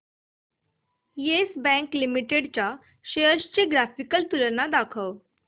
yes Bank Limited च्या shares ची graphical तुलना दाखव